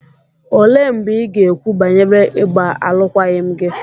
Olee mgbe ị ga-ekwu banyere ịgba alụkwaghịm gị?